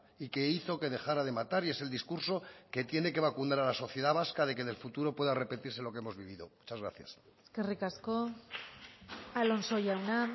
y que hizo que dejara de matar y es el discurso que tiene que vacunar a la sociedad vasca de que en el futuro pueda repetirse lo que hemos vivido muchas gracias eskerrik asko alonso jauna